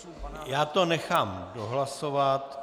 Já to nechám dohlasovat...